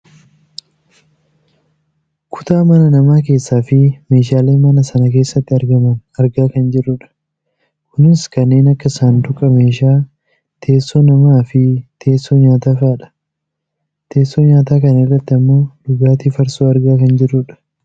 kutaa mana namaa keessafi meeshaale mana sana keessatti argaman argaa kan jirrudha. kunis kanneen akka saanduqa meeshaa, teessoo namaafi teessoo nyaataa fa'idha. teessoo nyaataa kana irratti ammoo dhugaatii farsoo argaa kan jirrudha.